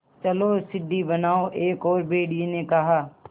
चलो सीढ़ी बनाओ एक और भेड़िए ने कहा